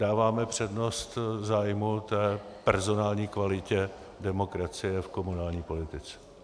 Dáváme přednost zájmu té personální kvality demokracie v komunální politice.